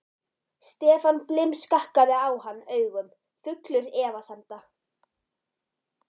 Stefán blimskakkaði á hann augum, fullur efasemda.